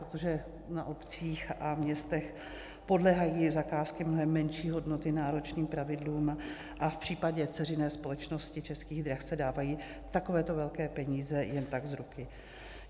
Protože na obcích a městech podléhají zakázky mnohem menší hodnoty náročným pravidlům, a v případě dceřiné společnosti Českých drah se dávají takovéto velké peníze jen tak z ruky.